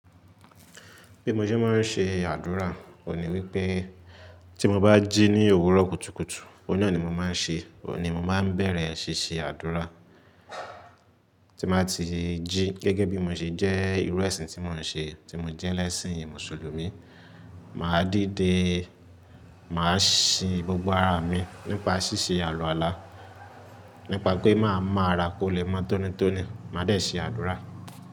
Bí mo ṣe máa ń ṣe àdúrà, òní wípé tí mo bá jí ní òwúrọ̀ kùtùkùtù, ọ̀nà ni mo máa ń ṣe, òní mo máa n bẹ̀rẹ̀ ṣíṣe àdúrà. Tí n bati jí gẹ́gẹ́ bí mo ṣe jẹ́ ìrú ẹṣin tí mò ń ṣe, tí mo jẹ́ lẹ́ṣin Mùsùlùmí, màá díde, màá sin gbogbo ara mi nípa ṣíṣe àluàlá, nípa pé màá mán ara kó lè mọ́ tónítóní, màá dẹ̀ ṣé àdúrà.